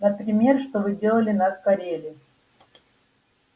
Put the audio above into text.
например что вы делали на кореле